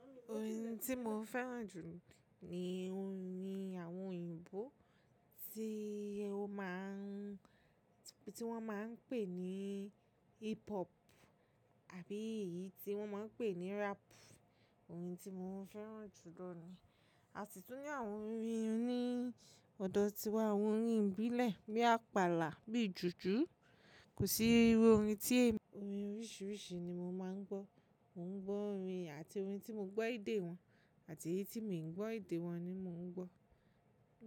Orin tí mo fẹ́ràn jù ni orin àwọn òyìnbó tí ó máa ń, tí wọ́n máa ń pè ní hip hop àbí èyí tí wọ́n máa ń pè ní rap. Orin tí mo fẹ́ràn jù lọ ni. Àsi tún ní àwọn orin orin ọ̀dọ̀ tiwa, àwọn orin ìbílẹ̀ bí apala, bí jùjú. Kò sí irú orin tí èmi, orin oríṣiríṣi ni mo máa ń gbọ́. Mo ń gbọ́ orin àti orin tí mo gbọ́ èdè wọn àti èyí tí mi ò gbọ́ èdè wọn ni mo ń gbọ́.